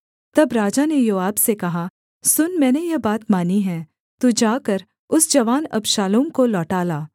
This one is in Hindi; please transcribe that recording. तब राजा ने योआब से कहा सुन मैंने यह बात मानी है तू जाकर उस जवान अबशालोम को लौटा ला